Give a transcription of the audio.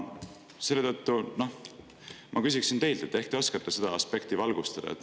Selle tõttu ma küsiksin teilt, et ehk te oskate seda aspekti valgustada.